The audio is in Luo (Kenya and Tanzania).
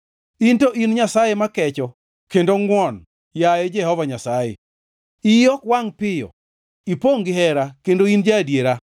In to in Nyasaye ma kecho kendo ngʼwon, yaye Jehova Nyasaye, iyi ok wangʼ piyo, ipongʼ gihera kendo in ja-adiera.